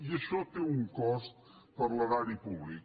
i això té un cost per a l’erari públic